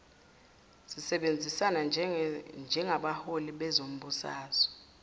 sisebenzisana njengabaholi bezombusazwe